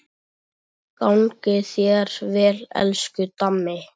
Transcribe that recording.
Gangi þér vel, elsku Dammi.